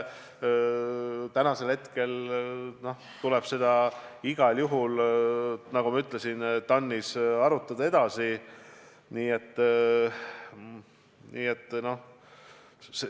Nagu ma ütlesin, tuleb seda igal juhul TAN-is edasi arutada.